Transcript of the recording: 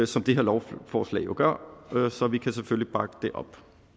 som det her lovforslag jo gør så vi kan selvfølgelig bakke det op